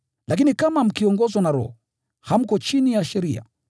Lakini kama mkiongozwa na Roho, hamko chini ya sheria.